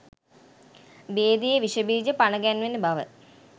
භේදයේ විෂබීජ පනගැන්වෙන බව